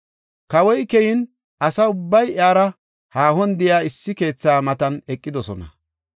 Kawoy keyin asa ubbay iyara haahon de7iya issi keetha matan eqidosona.